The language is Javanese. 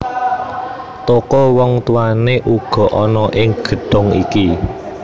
Toko wong tuwané uga ana ing gedhong iki